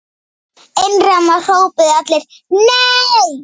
Einróma hrópuðu allir: NEI!